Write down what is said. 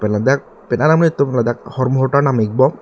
pen ladak penang an amonit atum hormu hortar nam ik bom.